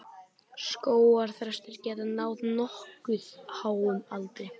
Skógarþrestir geta náð nokkuð háum aldri.